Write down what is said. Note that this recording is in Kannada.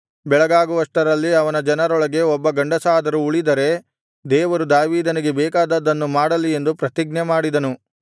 ಬೆಳಗಾಗುವಷ್ಟರಲ್ಲಿ ಅವನ ಜನರೊಳಗೆ ಒಬ್ಬ ಗಂಡಸಾದರೂ ಉಳಿದರೆ ದೇವರು ದಾವೀದನಿಗೆ ಬೇಕಾದದ್ದನ್ನು ಮಾಡಲಿ ಎಂದು ಪ್ರತಿಜ್ಞೆ ಮಾಡಿದನು